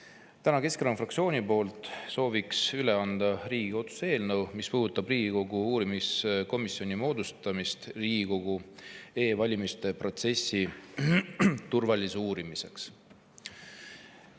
Sooviks täna Keskerakonna fraktsiooni poolt üle anda Riigikogu otsuse eelnõu, mis puudutab Riigikogu uurimiskomisjoni moodustamist Riigikogu e‑valimiste protsessi turvalisuse uurimiseks.